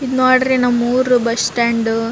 ಇದ ನೋಡ್ರಿ ನಮ್ಮ್ ಊರು ಬಸ್ಸ್ ಸ್ಟ್ಯಾಂಡ್ .